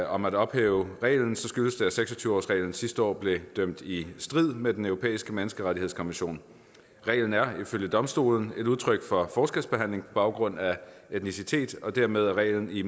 om at ophæve reglen skyldes det at seks og tyve årsreglen sidste år blev dømt i strid med den europæiske menneskerettighedskonvention reglen er ifølge domstolen et udtryk for forskelsbehandling baggrund af etnicitet og dermed er reglen i